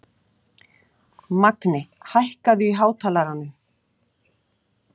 Magni, hækkaðu í hátalaranum.